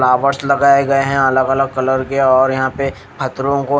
flowers लगाए गए है अलग अलग कलर के और पथरो को--